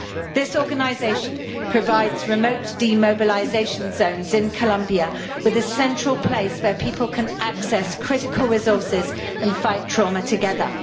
This organisation provides remote demobilisation zones in Colombia with a central place where people can access critical resources and fight trauma together.